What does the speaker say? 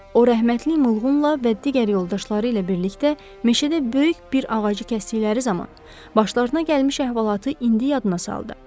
O rəhmətli Muğla və digər yoldaşları ilə birlikdə meşədə böyük bir ağacı kəsdikləri zaman başlarına gəlmiş əhvalatı indi yadına saldı.